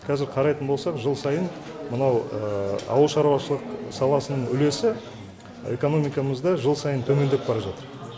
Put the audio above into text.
қазір қарайтын болсақ жыл сайын мынау ауыл шаруашылық саласының үлесі экономикамызда жыл сайын төмендеп бара жатыр